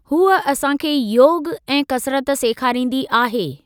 हुअ असांखे योग ऐं कसरत सेखारींदी आहे।